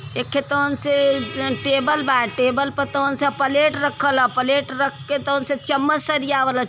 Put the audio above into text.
एक खे तौन से एं टेबल बा टेबल प तौन से अ पलेट रखल ह पलेट रख के तौन से चमच सरियावल ह --